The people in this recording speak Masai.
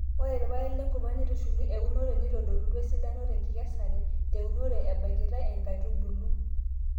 ore irpaek lenkurma neitushuli eunore nitodolutua esidano te nkikesare te unore ebakitae inkaitubulu